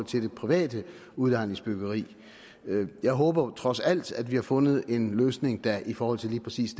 til det private udlejningsbyggeri jeg håber trods alt at vi har fundet en løsning der i forhold til lige præcis